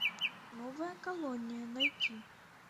новая колония найти